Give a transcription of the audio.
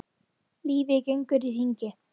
Lífið gengur í hringi.